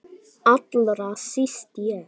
Allra síst ég!